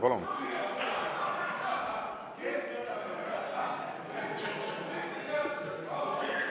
Palun!